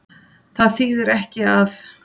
Það þýðir ekki að.